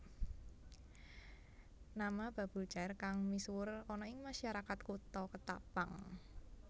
Nama Babul Chair kang misuwur ana ing masyarakat Kutha Ketapang